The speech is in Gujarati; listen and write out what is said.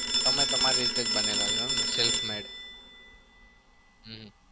તમે તમાર રીતે જ બનેલા છો એમ ને? self made હમ